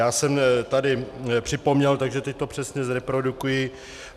Já jsem tady připomněl, takže teď to přesně zreprodukuji.